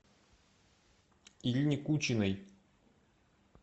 ирине кучиной